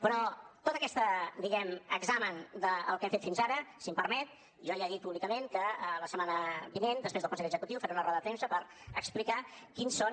però tot aquest diguem ne examen del que hem fet fins ara si m’ho permet jo ja he dit públicament que la setmana vinent després del consell executiu faré una roda de premsa per explicar quins són